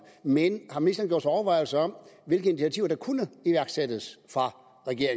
men har ministeren gjort sig overvejelser om hvilke initiativer der kunne iværksættes